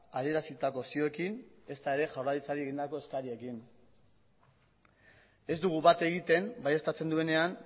adierazitako zioekin ezta ere jaurlaritzari egindako eskariekin ez dugu bat egiten baieztatzen duenean